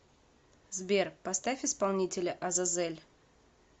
сбер поставь исполнителя азазель